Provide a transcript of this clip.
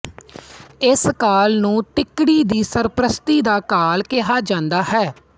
ਇਸ ਕਾਲ ਨੂੰ ਤਿੱਕੜੀ ਦੀ ਸਰਪ੍ਰਸਤੀ ਦਾ ਕਾਲ ਕਿਹਾ ਜਾਂਦਾ ਹੈ